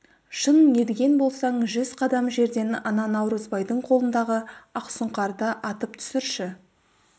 шын мерген болсаң жүз қадам жерден ана наурызбайдың қолындағы ақсұңқарды атып түсірші